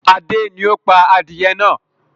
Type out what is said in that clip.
Adé ni ó pá adìyẹ náà.